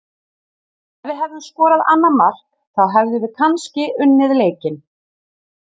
Ef við hefðum skorað annað mark þá hefðum við kannski unnið leikinn.